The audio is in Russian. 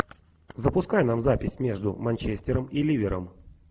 запускай нам запись между манчестером и ливером